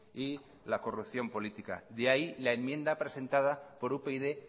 y la corrupción política de ahí la enmienda presentada por upyd